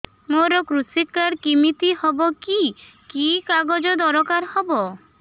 ମୋର କୃଷି କାର୍ଡ କିମିତି ହବ କି କି କାଗଜ ଦରକାର ହବ